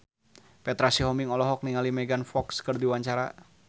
Petra Sihombing olohok ningali Megan Fox keur diwawancara